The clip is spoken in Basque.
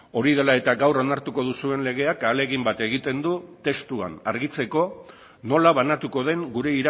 hori dela eta gaur onartuko duzuen legeak ahalegin bat egiten du testuan argitzeko nola banatuko den gure